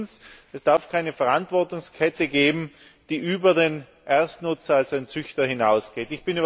Fünftens Es darf keine Verantwortungskette geben, die über den Erstnutzer, also den Züchter, hinausgeht.